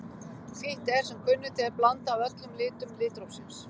Hvítt er sem kunnugt er blanda af öllum litum litrófsins.